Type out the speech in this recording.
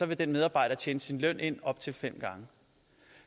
vil den medarbejder tjene sin løn ind op til fem gange